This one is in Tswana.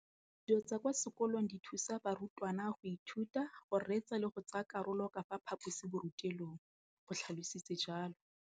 Dijo tsa kwa sekolong dithusa barutwana go ithuta, go reetsa le go tsaya karolo ka fa phaposiborutelong, o tlhalositse jalo.